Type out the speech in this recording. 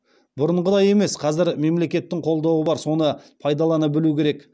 бұрынғыдай емес қазір мемлекеттік қолдаулар бар соны пайдалана білу керек